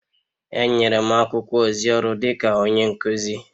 Enyere m akwụkwọ ozi ọrụ dịka onye nkuzi..